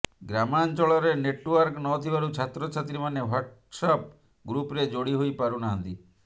ଗ୍ରାମାଞ୍ଚଳରେ ନେଟୱର୍କ ନଥିବାରୁ ଛାତ୍ରଛାତ୍ରୀମାନେ ହ୍ୱାଟସପ୍ ଗ୍ରୁପରେ ଯୋଡି ହୋଇ ପାରୁ ନାହାନ୍ତି